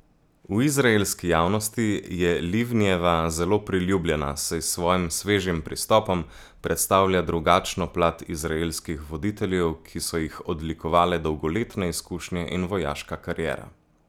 V izraelski javnosti je Livnijeva zelo priljubljena, saj s svojim svežim pristopom predstavlja drugačno plat izraelskih voditeljev, ki so jih odlikovale dolgoletne izkušnje in vojaška kariera.